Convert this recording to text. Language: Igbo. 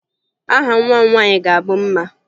Aha nwa m nwaanyị ga-abụ Mma